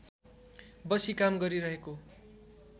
बसी काम गरिरहेको